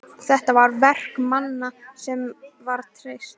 Þetta er verk manna sem var treyst!